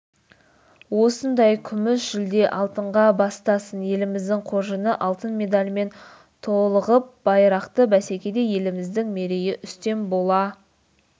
осындай күміс жүлде алтынға бастасын еліміздің қоржыны алтын медалдармен толығып байрақты бәсекеде еліміздің мерейі үстем бола